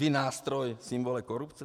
Vy, nástroj, symbol korupce?